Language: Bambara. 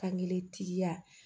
Fangelen tigiya